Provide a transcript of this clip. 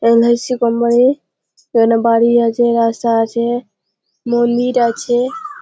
বাড়ি এখানে বাড়ি আছে রাস্তা আছে ম‌ন্দির আছে ।